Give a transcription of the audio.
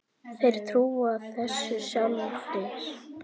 Þeir trúa þessu sjálfir